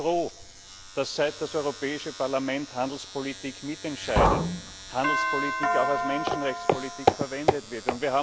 Ich bin froh, dass, seit das Europäische Parlament Handelspolitik mitentscheidet, Handelspolitik auch als Menschenrechtspolitik eingesetzt wird.